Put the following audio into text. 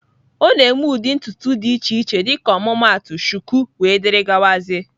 Ọ na-eme ụdị ntutu dị iche iche dịka ọmụmaatụ shuku wdg